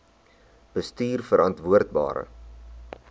bestuurverantwoordbare